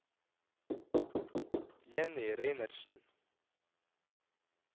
Jenny Reinertsen